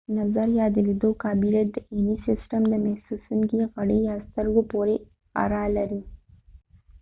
نظر ،یا د لیدلو قابلیت د عینی سیستم د د محسوسونکې غړی یا سترګو پورې اړه لري